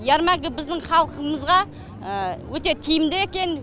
ярмарка біздің халқымызға өте тиімді екен